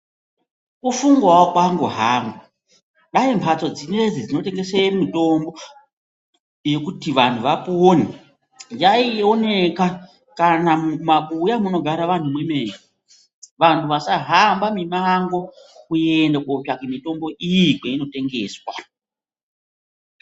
Kufungawo kwangu hangu, dai mhatso dzinoidzi dzinotengese mitombo yekuti vantu vapone yaioneka kana mumabuya munogara vanhu mwemene, vantu vasahamba mimango kuende kotsvake mitombo iyi kweinotengeswa.